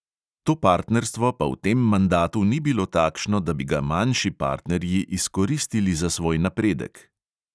To partnerstvo pa v tem mandatu ni bilo takšno, da bi ga manjši partnerji izkoristili za svoj napredek.